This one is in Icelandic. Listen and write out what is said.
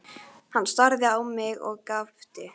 Hann starði á mig og gapti.